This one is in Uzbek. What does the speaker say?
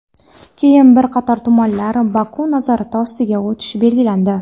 keyin bir qator tumanlar Baku nazorati ostiga o‘tishi belgilandi.